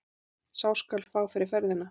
Sá skal fá fyrir ferðina!